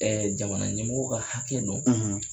Jamana ɲɛmɔgɔw ka hakɛ don,